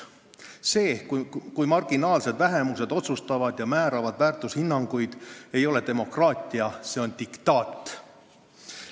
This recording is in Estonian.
See, kui marginaalsed vähemused teevad otsuseid ja määravad väärtushinnanguid, ei ole demokraatia – see on diktaat.